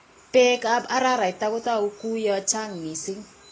Bekab araraita kutoku kuu ya chang missing.